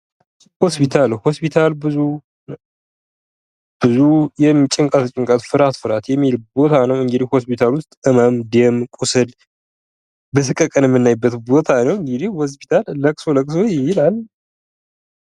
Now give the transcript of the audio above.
ሆስፒታል ፦ሆስፒታል ብዙ ጭንቀት ጭንቀት ፤ ፍርሃት ፍርሃት የሚል ቦታ ነው። እንግድህ ሆስፒታል ውስጥ ህመም ፣ደም፣ ቁስል በሰቀቀን የምናይበት ቦታ ነው። እንግድህ ሆስፒታል ለቅሶ ለቅሶ ይላል ።